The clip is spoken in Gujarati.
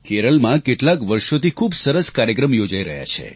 કેરળમાં કેટલાંક વર્ષોથી ખૂબ સરસ કાર્યક્રમ યોજાઈ રહ્યાં છે